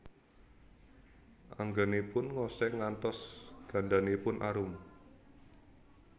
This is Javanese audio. Anggènipun ngosèng ngantos gandanipun arum